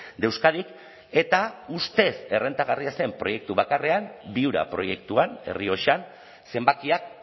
de euskadik eta ustez errentagarria zen proiektu bakarrean viura proiektuan errioxan zenbakiak